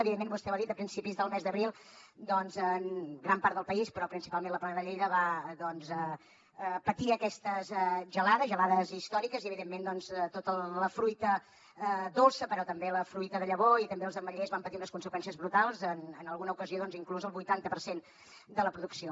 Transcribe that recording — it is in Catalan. evidentment vostè ho ha dit a principis del mes d’abril doncs gran part del país però principalment la plana de lleida va patir aquestes gelades gelades històriques i evidentment tota la fruita dolça però també la fruita de llavor i també els ametllers van patir unes conseqüències brutals en alguna ocasió inclús el vuitanta per cent de la producció